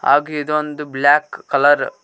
ಹಾಗೆ ಇದು ಒಂದು ಬ್ಲಾಕ್ ಕಲರ್ .